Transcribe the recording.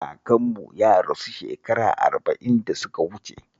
Kakanmu ya rasu shekara arba'in da suka wuce